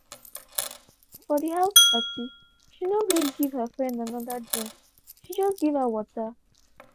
for the house party she no gree give her friend another drinkshe just give her water